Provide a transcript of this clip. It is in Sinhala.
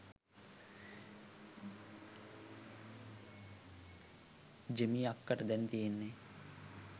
ජෙමි අක්කට දැන් තියෙන්නේ